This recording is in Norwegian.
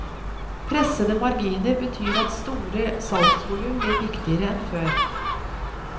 Pressede marginer betyr at store salgsvolum blir viktigere enn før.